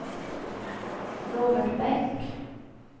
Robert Bäck